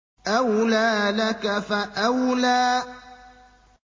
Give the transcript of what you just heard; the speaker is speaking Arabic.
أَوْلَىٰ لَكَ فَأَوْلَىٰ